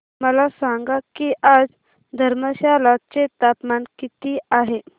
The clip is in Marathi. मला सांगा की आज धर्मशाला चे तापमान किती आहे